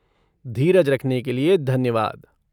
धीरज रखने के लिए धन्यवाद।